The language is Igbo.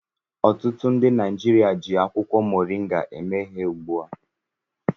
Ọtụtụ ndị Naijiria ji akwụkwọ moringa eme ihe ugbu a.